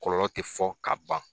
Kɔlɔlɔ tɛ fɔ ka ban.